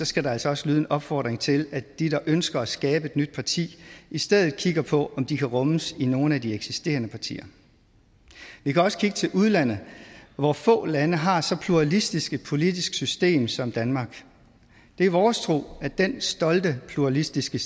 skal der altså også lyde en opfordring til at de der ønsker at skabe et nyt parti i stedet kigger på om de kan rummes inden nogle af de eksisterende partier vi kan også kigge til udlandet hvor få lande har så pluralistisk et politisk system som danmark det er vores tro at dén stolte pluralistiske